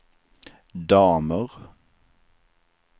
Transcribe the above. damer